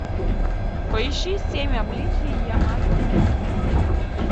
поищи семь обличий ямато надэсико